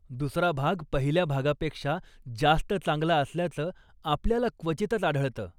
दूसरा भाग पहिल्या भागापेक्षा जास्त चांगला असल्याचं आपल्याला क्वचितच आढळत.